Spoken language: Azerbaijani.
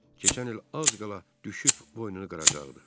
Keçən il az qala düşüb boynunu qıracaqdı.